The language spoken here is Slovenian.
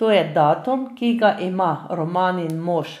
To je datum, ki ga ima Romanin mož